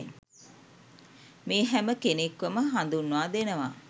මේ හැම කෙනෙක්වම හදුන්වා දෙනවා.